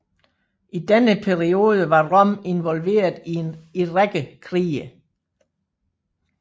I denne periode var Rom involveret i række krige